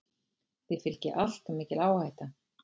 Því fylgi alltof mikil áhætta.